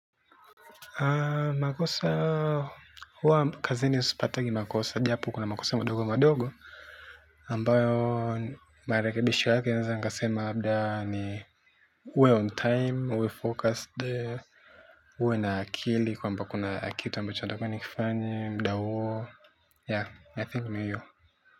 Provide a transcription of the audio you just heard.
Makosa huwa kazini sipatagi makosa japo kuna makosa madogomadogo ambayo marekebisho yake naweza nikasema labda ni uwe on time, uwe focused uwe na akili kwamba kuna kitu ambacho nitakuwa nikifanye, muda huo, yaa, I think ni hiyo.